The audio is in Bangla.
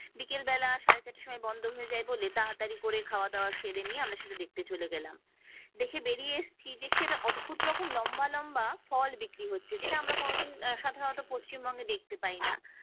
বিকেল বেলা সাড়ে চারটের সময় বন্ধ হয়ে যায় বলে তাড়াতাড়ি করে খাওয়া দাওয়া সেরে নিয়ে আমরা সেটা দেখতে চলে গেলাম দেখে বেরিয়ে এসছি দেখছি একটা অদ্ভুত রকম লম্বা লম্বা ফল বিক্রি হচ্ছে যেটা আমরা কোনদিন সাধারণত পশ্চিমবঙ্গে দেখতে পাই না